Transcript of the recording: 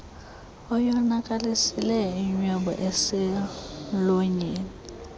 oyonakalisileyo inwebu eselmlonyeni